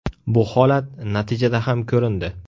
Bu holat natijada ham ko‘rindi.